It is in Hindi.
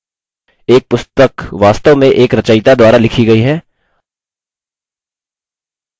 एक पुस्तक वास्तव में एक रचयिता द्वारा लिखी गयी है